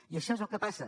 i això és el que passa